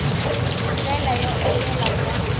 hi ndlela yo enela bya